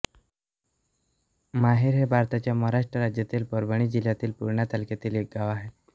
माहेर हे भारताच्या महाराष्ट्र राज्यातील परभणी जिल्ह्यातील पूर्णा तालुक्यातील एक गाव आहे